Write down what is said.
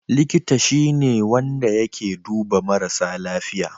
Likita shi ne wanda yake duba marasa lafiya.